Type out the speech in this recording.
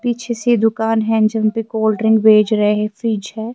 . پیچھے سے یہ دکان ہیں جنپے کولڈ ڈرنک بچ رہے ہیں فرج یا ہیں